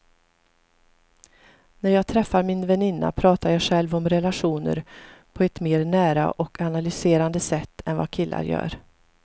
När jag träffar min väninna pratar jag själv om relationer på ett mer nära och analyserande sätt än vad killar gör.